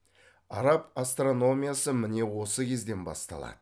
араб астрономиясы міне осы кезден басталады